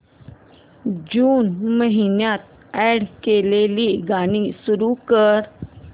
जून महिन्यात अॅड केलेली गाणी सुरू कर